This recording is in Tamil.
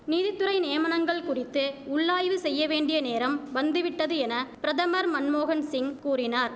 நீதித்துறை நியமனங்கள் குறித்து உள்ளாய்வு செய்ய வேண்டிய நேரம் வந்துவிட்டது என பிரதமர் மன்மோகன்சிங் கூறினார்